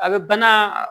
A bɛ bana